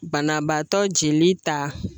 Banabaatɔ jeli ta